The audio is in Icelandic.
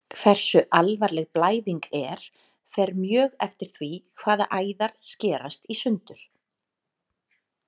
Hversu alvarleg blæðing er fer mjög eftir því hvaða æðar skerast í sundur.